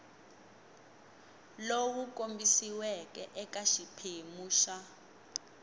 lowu kombisiweke eka xiphemu xa